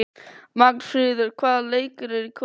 Magnfríður, hvaða leikir eru í kvöld?